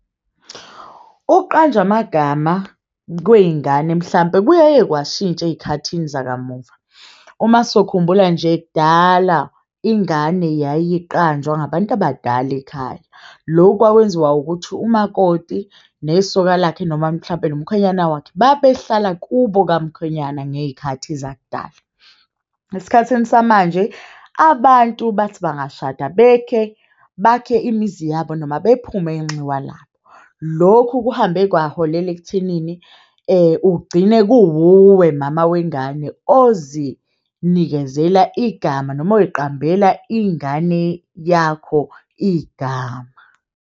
Ukuqanjwa amagama kweyingane mhlampe kuyaye kwashintsha eyikhathini zakamuva. Uma sokhumbula nje kudala, ingane yayiqanjwa abantu abadala ekhaya. Lokhu kwakwenziwa ukuthi umakoti nesoka lakhe noma mhlampe nomkhwenyana wakhe babehlala kubo kamkhwenyana ngeyikhathi zakudala. Esikhathini samanje abantu bathi bangashada bekhe bakhe imizi yabo noma bephume inxiwa labo lokhu kuhambe kwaholela ekuthenini ugcine kuwuwe mama wengane ozinikezela igama noma oyiqambela ingane yakho igama.